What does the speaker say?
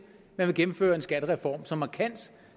anerkendelse